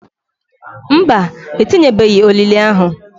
Mba, etinyebeghi olili ahu.